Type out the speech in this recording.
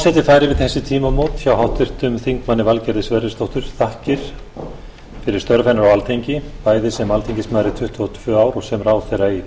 færir við tímamót hjá háttvirtum þingmanni valgerði sverrisdóttur þakkir fyrir störf hennar á alþingi bæði sem alþingismaður í tuttugu og tvö ár og sem ráðherra í